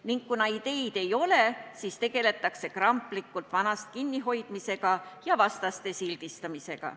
Ning kuna ideid ei ole, siis tegeletakse kramplikult vanast kinnihoidmisega ja vastaste sildistamisega.